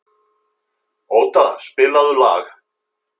Óda, spilaðu lag.